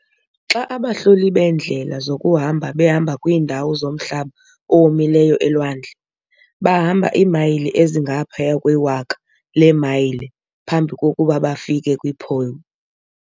Xa abahloli beendlela zokuhamba behamba kwiindawo zomhlaba owomileyo elwandle, bahamba iimayile ezingaphaya kwewaka leemayile phambi kokuba bafike kwi-"pole".